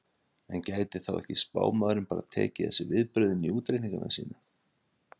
en gæti þá ekki spámaðurinn bara tekið þessi viðbrögð inn í útreikninga sína